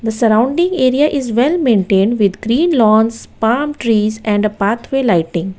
Surrounding area is well maintained with green lawns palm trees and a pathway lighting.